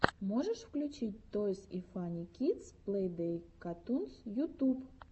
можешь включить тойс и фанни кидс плей дей катунс ютуб